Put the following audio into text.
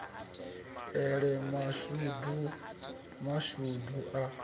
e si mashudu mashudu a